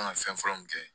An ka fɛn fɔlɔ min kɛ